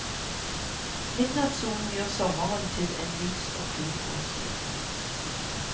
Midnattsolen gjør sommeren til en lys og fin årstid.